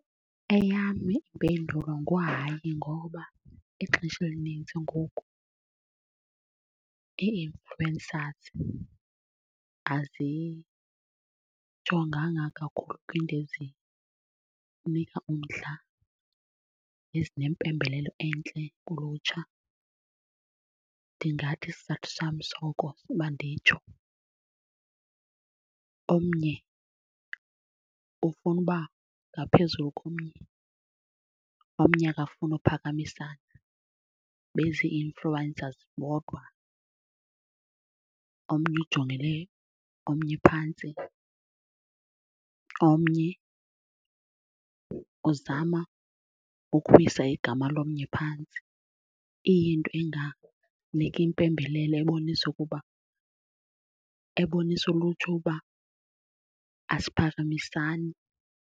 Eyam impendulo nguhayi. Ngoba ixesha elinintsi ngoku nee-influencers azijonganga kakhulu kwiinto ezinika umdla nezinempembelelo entle kulutsha. Ndingathi isizathu sam soko uba nditsho, omnye ufuna uba ngaphezulu komnye, omnye akafuni uphakamisana bezi-influencers bodwa. Omnye ujongele omnye phantsi, omnye uzama ukuwisa igama lomnye phantsi. Iyinto enganiki impembelelo ebonisa ukuba, ebonisa ulutsha uba asiphakamisani.